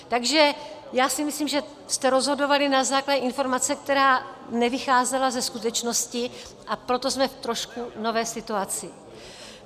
Takže já si myslím, že jste rozhodovali na základě informace, která nevycházela ze skutečnosti, a proto jsme v trošku nové situaci.